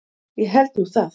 Ég held nú það!